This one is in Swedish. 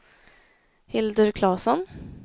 Hildur Klasson